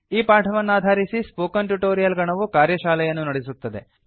ಈ ಪಾಠವನ್ನಾಧಾರಿಸಿ spoken tutorial ಗಣವು ಕಾರ್ಯಶಾಲೆಯನ್ನು ನಡೆಸುತ್ತದೆ